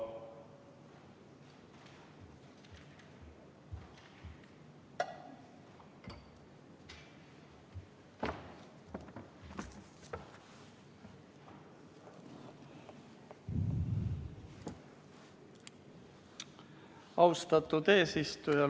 Austatud eesistuja!